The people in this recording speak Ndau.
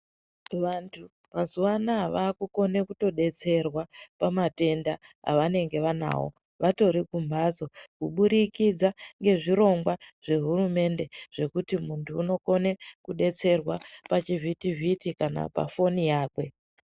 Vantu mazuwa anawa vakukone kutodetserwa pamatenda avanenge vanawo vatori kumbatso kuburikidza ngezvirongwa zvehurumende zvekuti muntu unokone kudetserwa pachivhuti vhiti kana pafoni yake.